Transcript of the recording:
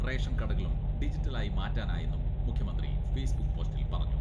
Ration കടകളും digital ആയി മാറ്റാനായെന്നും മുഖ്യമന്ത്രി ഫേസ്ബുക്ക് പോസ്റ്റിൽ പറഞ്ഞു.